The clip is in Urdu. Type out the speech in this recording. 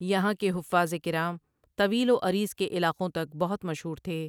یہاں کے حفاظ کرام طویل و عریض کے علاقوں تک بہت مشہور تھے ۔